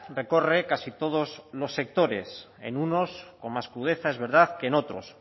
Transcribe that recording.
recorre casi todos los sectores en unos con más crudeza es verdad que en otros